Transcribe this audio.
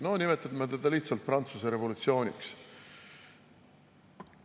No nimetame seda lihtsalt Prantsuse revolutsiooniks.